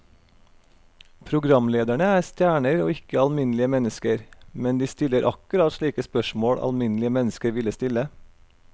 Programlederne er stjerner og ikke alminnelige mennesker, men de stiller akkurat slike spørsmål alminnelige mennesker ville stille.